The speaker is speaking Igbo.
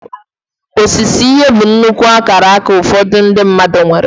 Osise ihe bụ nnukwu akaraka ụfọdụ ndị mmadụ nwere.